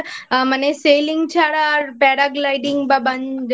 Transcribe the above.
মানে Sailing ছাড়া আর Paragliding